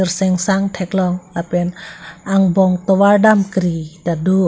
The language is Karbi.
singsang thek long lapen angbong tovar dam kri tado.